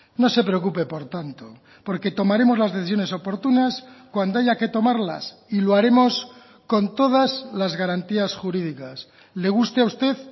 no se preocupe por tanto porque tomaremos las decisiones oportunas cuando haya que tomarlas y lo haremos con todas las garantías jurídicas le guste a usted